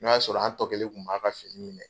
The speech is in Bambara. N'o y'a sɔrɔ an tɔkelen tun b'a ka finiw minɛ.